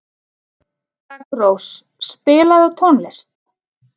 Daggrós, spilaðu tónlist.